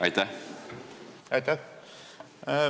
Aitäh!